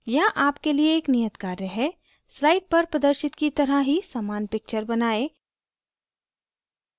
यहाँ आपके लिए एक नियत कार्य है slide पर प्रदर्शित की तरह ही समान picture बनाएं